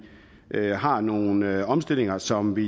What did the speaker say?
har nogle omstillinger som vi